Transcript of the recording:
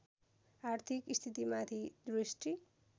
आर्थिक स्थितिमाथि दृष्टि